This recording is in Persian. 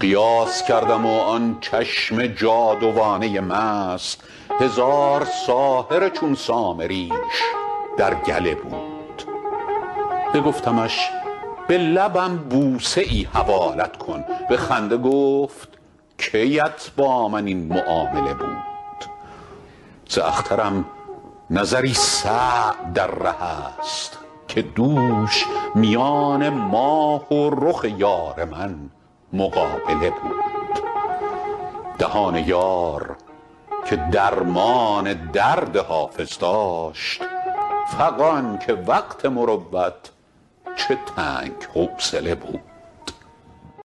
قیاس کردم و آن چشم جادوانه مست هزار ساحر چون سامریش در گله بود بگفتمش به لبم بوسه ای حوالت کن به خنده گفت کی ات با من این معامله بود ز اخترم نظری سعد در ره است که دوش میان ماه و رخ یار من مقابله بود دهان یار که درمان درد حافظ داشت فغان که وقت مروت چه تنگ حوصله بود